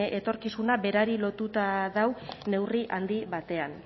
etorkizuna berari lotuta dago neurri handi batean